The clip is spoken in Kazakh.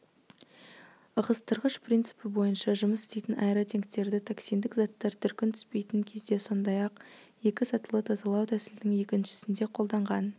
ығыстырғыш принципі бойынша жұмыс істейтін аэротенктерді токсиндік заттар дүркін түспейтін кезде сондай-ақ екі сатылы тазалау тәсілінің екіншісінде қолданған